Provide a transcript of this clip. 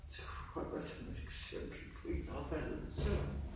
Du kom med sådan et eksempel på en der var faldet i søvn